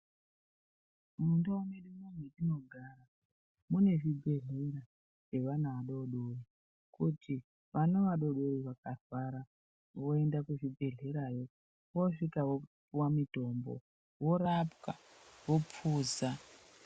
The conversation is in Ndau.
Mundau mwedu mwetinogara mune zvibhehlera zvevana vadodori kuti vana vadodori vakarwara voenda kuzvibhedhlera yo vosvika vopiwa mitombo vorapwa vopuza .